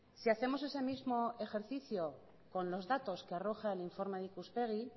si hacemos ese mismo ejercicio con los datos que arroja el informe de ikuspegi